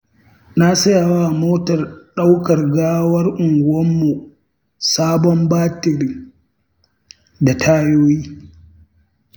Na sayawa motar ɗaukar gawar unguwarmu sabon batiri da tayoyi.